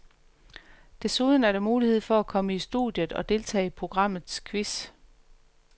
Desuden er der mulighed for at komme i studiet og deltage i programmets quiz.